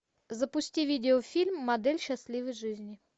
запусти видеофильм модель счастливой жизни